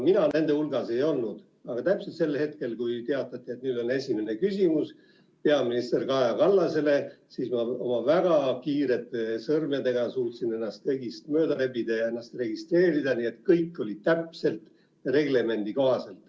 Mina nende hulgas ei olnud, aga täpselt sel hetkel, kui teatati, et nüüd on esimene küsimus peaminister Kaja Kallasele, siis ma oma väga kiirete sõrmedega suutsin ennast kõigist mööda rebida ja registreerida, nii et kõik oli täpselt reglemendi kohaselt.